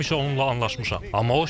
Həmişə onunla anlaşmışam.